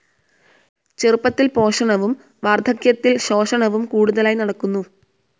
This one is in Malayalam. ചെറുപ്പത്തിൽ പോഷണവും വാർധക്യത്തിൽ ശോഷണവും കൂടുതലായി നടക്കുന്നു.